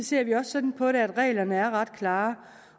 ser vi også sådan på det at reglerne er ret klare